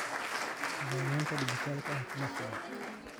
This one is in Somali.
Nidaamyada dhijitaalka ah kuma filna.